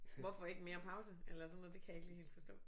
Hvorfor ikke mere pause eller sådan noget det kan jeg ikke lige helt forstå